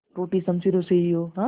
टूटी शमशीरों से ही हो